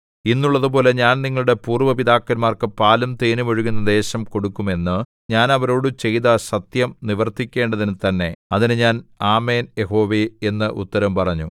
ഇന്നുള്ളതുപോലെ ഞാൻ നിങ്ങളുടെ പൂര്‍വ്വ പിതാക്കന്മാർക്ക് പാലും തേനും ഒഴുകുന്ന ദേശം കൊടുക്കും എന്ന് ഞാൻ അവരോടു ചെയ്ത സത്യം നിവർത്തിക്കേണ്ടതിനു തന്നെ അതിന് ഞാൻ ആമേൻ യഹോവേ എന്ന് ഉത്തരം പറഞ്ഞു